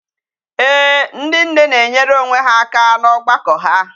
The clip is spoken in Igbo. Ee, ndi nne na-enyere onwe ha aka n'ogbako ha.